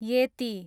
येती